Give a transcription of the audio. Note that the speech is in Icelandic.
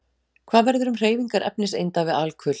Hvað verður um hreyfingar efniseinda við alkul?